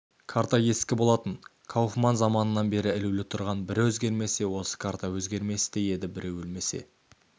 карта ескі болатын кауфман заманынан бері ілулі тұрған бір өзгермесе осы карта өзгерместей еді біреу өлмесе